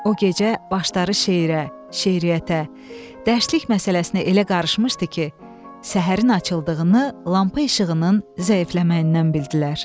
O gecə başları şeirə, şeiriyyətə, dərslik məsələsinə elə qarışmışdı ki, səhərin açıldığını, lampa işığının zəifləməyindən bildilər.